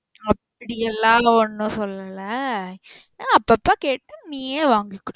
அப்படியெல்லா ஒன்னும் சொல்லல அப்பப்போ கேட்டு நீயும் வங்கிக்கோ.